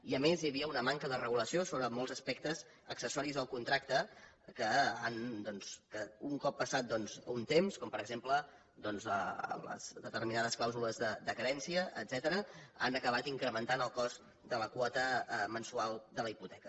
i a més hi havia una manca de regulació sobre molts aspectes accessoris del contracte que un cop passat un temps com per exemple doncs determinades clàusules de carència etcètera han acabat incrementant el cost de la quota mensual de la hipoteca